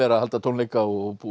að halda tónleika og búa